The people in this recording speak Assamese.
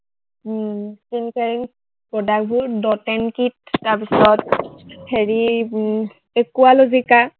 product বোৰ dot and kit তাৰপিছত, হেৰি উম একুৱালভিকা